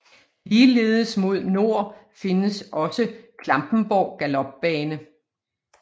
Ligeledes mod nord findes også Klampenborg Galopbane